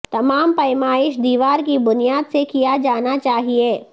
تمام پیمائش دیوار کی بنیاد سے کیا جانا چاہئے